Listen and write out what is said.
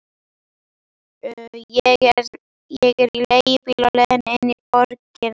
Ég er í leigubíl á leiðinni inn í borgina.